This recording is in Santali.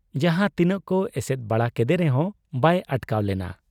ᱡᱟᱦᱟᱸ ᱛᱤᱱᱟᱹᱜ ᱠᱚ ᱮᱥᱮᱫ ᱵᱟᱲᱟ ᱠᱮᱫᱮ ᱨᱮᱦᱚᱸ ᱵᱟᱭ ᱟᱴᱠᱟᱣ ᱞᱮᱱᱟ ᱾